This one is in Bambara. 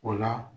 O la